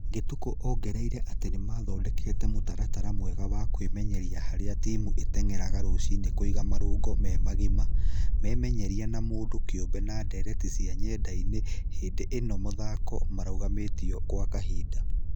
Gĩtũkũ ongereire atĩ nĩmathondekete mũtaratara mwega wa kwĩmenyeria harĩa timũ ĩteng'eraga rũciinĩ kũiga marũngo memagima, memenyeria ma mũndũ kĩũmbe na ndereti cia nyendainĩ hĩndĩ ĩno mathako marũgamĩtio gwa kahinda.